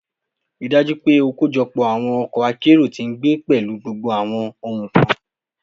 Rii daju pe o kojọpọ awọn ọkọ akero ti ngbe pẹlu gbogbo awọn ohun kan